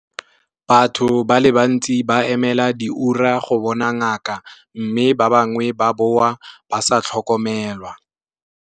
Batho ba le bantsi ba emela diura go bona ngaka, mme ba bangwe ba boa ba sa tlhokomelwa.